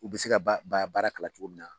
U bi se ka ba baara kalan cogo min na